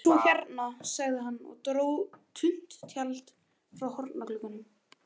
Sérðu svo hérna, sagði hann og dró þunnt tjald frá hornglugganum.